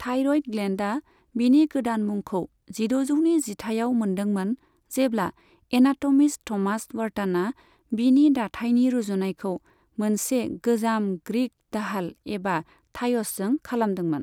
Thyroid ग्लेन्डआ बिनि गोदान मुंखौ जिद'जौनि जिथाइयाव मोन्दोंमोन, जेब्ला एनाट'मिस्ट थ'मास व्हार्टनआ बिनि दाथाइनि रुजुनायखौ मोनसे गोजाम ग्रीक दाहाल एबा थाय'सजों खालामदोंमोन।